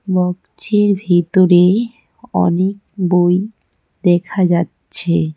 Box -এর ভিতরে অনেক বই দেখা যাচ্ছে।